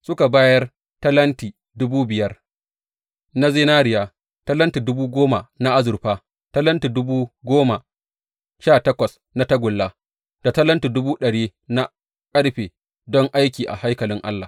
Suka bayar talenti dubu biyar na zinariya, talenti dubu goma na azurfa, talenti dubu goma sha takwas na tagulla da talenti dubu ɗari na ƙarfe don aiki a haikalin Allah.